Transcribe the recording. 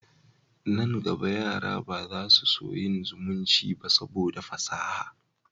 Nan gaba, yara ba za su so yin zumunci ba saboda fasaha